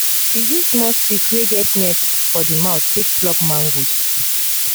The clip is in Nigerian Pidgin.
he use small stick wey get net for the mouth take pluck mangoes